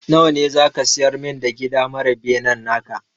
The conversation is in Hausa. Nawa ne za ka siyar min da gida mara benen naka?